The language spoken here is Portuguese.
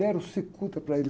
Deram sicuta para ele.